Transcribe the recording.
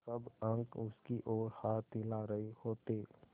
सब अंक उसकी ओर हाथ हिला रहे होते